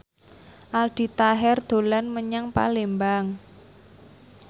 Aldi Taher dolan menyang Palembang